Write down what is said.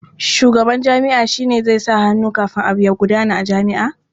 Shugaban jami'a shi zai sa hannu kafin abu ya gudana a jami'a.